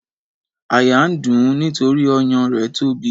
Àyà ń dùn ún nítorí ọyàn rẹ̀ tóbi.